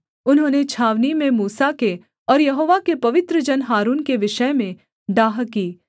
उन्होंने छावनी में मूसा के और यहोवा के पवित्र जन हारून के विषय में डाह की